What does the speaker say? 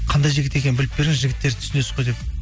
қандай жігіт екенін біліп беріңіз жігіттерді түсінесіз ғой деп